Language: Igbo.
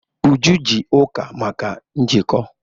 Uju ji Uka maka njikọ.